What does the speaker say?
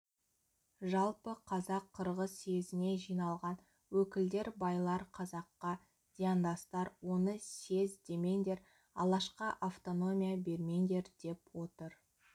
жалпы қазақ-қырғыз съезіне жиналған өкілдер байлар қазаққа зияндастар оны съезд демеңдер алашқа автономия бермеңдер деп отыр